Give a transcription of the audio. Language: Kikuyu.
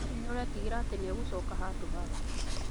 Hihi nĩ ũreetigĩra atĩ nĩegucoka handũhaku?